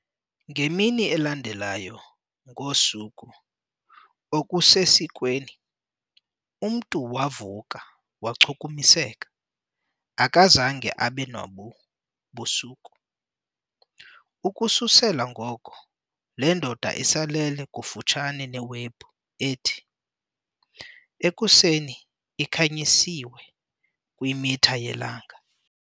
Ngemini elandelayo ngosuku okusesikweni, umntu wavuka wachukumiseka, akazange abe nobu busuku. Ukususela ngoko, le ndoda isalele kufutshane neWebhu ethi, ekuseni, ikhanyisiwe kwimitha yelanga.